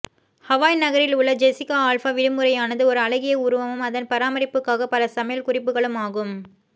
Hawaii நகரில் உள்ள Jessica Alba விடுமுறையானது ஒரு அழகிய உருவமும் அதன் பராமரிப்புக்காக பல சமையல் குறிப்புகளும் ஆகும்